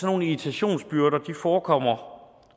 nogle irritationsbyrder forekommer